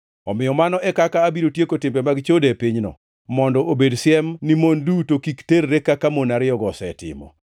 “Omiyo mano e kaka abiro tieko timbe mag chode e pinyno, mondo obed siem ni mon duto kik terre kaka mon ariyogo osetimo.